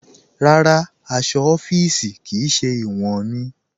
Rárá, aṣọ̀ ọ̀fíìṣí kí í ṣẹ̀ iwọn mí.